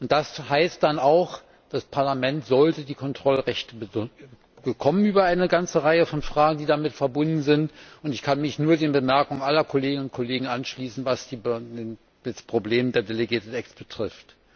Das heißt dann auch Das Parlament sollte die Kontrollrechte bekommen über eine ganze Reihe von Fragen, die damit verbunden sind, und ich kann mich nur den Bemerkungen aller Kolleginnen und Kollegen anschließen, was das Problem der delegated acts betrifft.